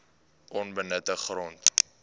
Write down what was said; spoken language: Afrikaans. onbenutte grond